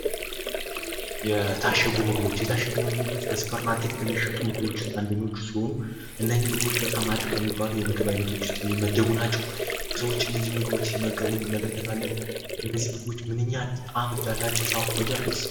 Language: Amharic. የታሸጉ ምግቦች የታሸጉ ምግቦች በሱፐር ማርኬቶች ውስጥ ከሚሸጡ ምግቦች አንደኞቹ ሲሆኑ እነዚህ ምግቦች በጣም አሪፍ ከሚባሉ የምግብ አይነቶች ውስጥ የሚመደቡ ናቸው። ሰዎች እነዚህ ምግቦች ሲመገቡ እናያለን። እነዚህ ምግቦች ምንኛ ጣዕም እንዳላቸው ሳውቅ በጣም ደስ አለኝ።